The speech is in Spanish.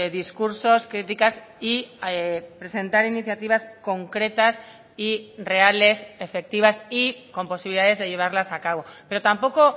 discursos críticas y presentar iniciativas concretas y reales efectivas y con posibilidades de llevarlas a cabo pero tampoco